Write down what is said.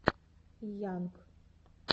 йанг